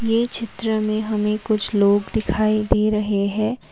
यह चित्र में हमें कुछ लोग दिखाई दे रहे हैं।